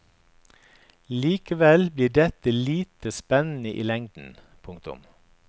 Likevel blir dette lite spennende i lengden. punktum